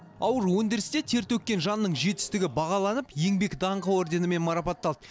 ауыр өндірісте тер төккен жанның жетістігі бағаланып еңбек даңқы орденімен марапатталды